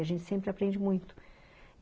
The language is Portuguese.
A gente sempre aprende muito.